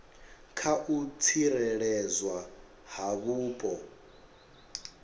kha u tsireledzwa ha vhupo